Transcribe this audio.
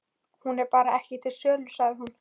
Hún er bara ekki til sölu, sagði hún.